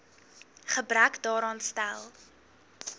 gebrek daaraan stel